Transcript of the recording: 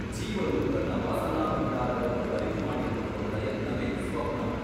ಜೀವನು ತನ್ನ ವಾಸನಾಭಂಡಾರವನ್ನು ಬರಿದುಮಾಡಿಕೊಳ್ಳುವ ಪ್ರಯತ್ನವೇ ಸ್ವಪ್ನವು.